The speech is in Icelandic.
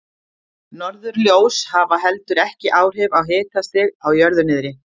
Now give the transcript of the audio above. Norðurljós hafa heldur ekki áhrif á hitastig á jörðu niðri.